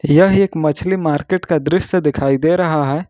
यह एक मछली मार्केट का दृश्य दिखाई दे रहा है।